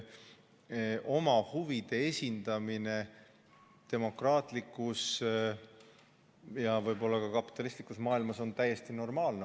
Oma huvide esindamine demokraatlikus ja võib-olla ka kapitalistlikus maailmas on täiesti normaalne.